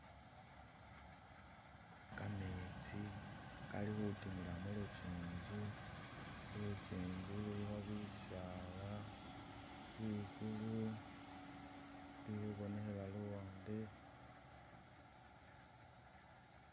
Kametsi kali khutimila mulukyinkyi lukyinkyi lulikho bisaala, ligulu lili khubonekhela luwande